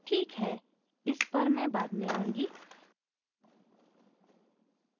ठीक है इस पर मैं बाद में आऊँगी